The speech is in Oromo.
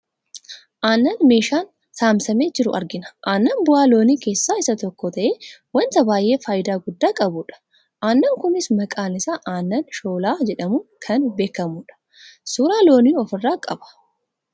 aannan meeshaan samsamee jiru argina. aannan bu'aa loonii keessaa isa tokko ta'ee wanta baayyee fayidaa guddaa qabu dha. aannan kunis maqaan isaa aannan shoolllaa jedhamuun kan beekkamudha. suuraa loonii ofirraa qaba.